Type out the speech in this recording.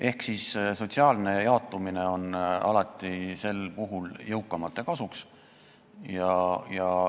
Ehk sotsiaalne jaotumine on sel puhul alati jõukamate kasuks.